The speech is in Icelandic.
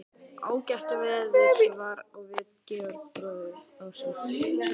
Ágætt veður var og við Georg bróðir, ásamt